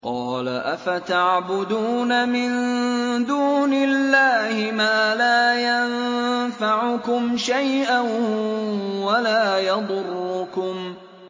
قَالَ أَفَتَعْبُدُونَ مِن دُونِ اللَّهِ مَا لَا يَنفَعُكُمْ شَيْئًا وَلَا يَضُرُّكُمْ